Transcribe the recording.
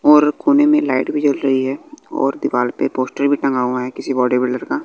और कोने में लाइट भी जल रही है और दीवाल पे पोस्टर भी टंगा हुआ है किसी बॉडी बिल्डर का।